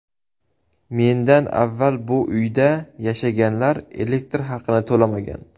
Mendan avval bu uyda yashaganlar elektr haqini to‘lamagan.